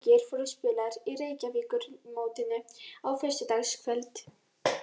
Tveir leikir voru spilaðir í Reykjavíkurmótinu á föstudagskvöld.